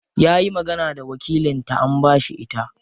Yayi magana da wakilin ta an bashi ita.